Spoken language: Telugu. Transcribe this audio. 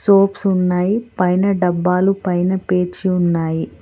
సోప్స్ ఉన్నాయి పైన డబ్బాలు పైన పేర్చి ఉన్నాయి.